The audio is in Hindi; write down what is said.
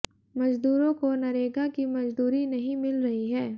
मजदूरों को नरेगा की मजदूरी नहीं मिल रही है